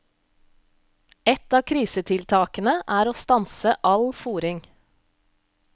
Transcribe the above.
Ett av krisetiltakene er å stanse all fôring.